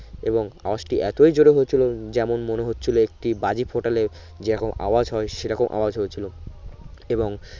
এবং আওয়াজটি এতই জোরে হয়েছিলো যেমন মনে হচ্ছিলো একটি বাজি ফোটলে যেগো আওয়াজ হয় সে রকম আওয়াজ হয়েছিলো এবং